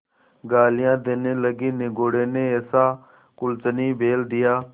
गालियाँ देने लगीनिगोडे़ ने ऐसा कुलच्छनी बैल दिया